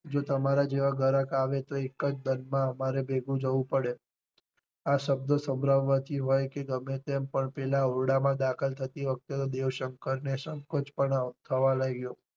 જો તમારા જેવા ગ્રાહક આવે તો એક જ માં ઘરે ભેગું જવું પડે આ શબ્દ સંભળાવાથી હોય કે ગમે તેમ પેલા ઓરડા માં દાખલ થતી વખતે દેવ શંકર ને સંકોચ પણ આ થવા લાગ્યો.